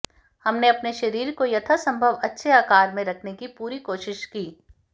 हमने अपने शरीर को यथासंभव अच्छे आकार में रखने की पूरी कोशिश की